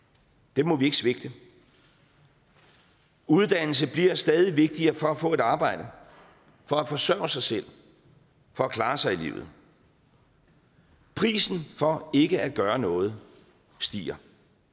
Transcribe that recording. dem må vi ikke svigte uddannelse bliver stadig vigtigere for at få et arbejde for at forsørge sig selv for at klare sig i livet prisen for ikke at gøre noget stiger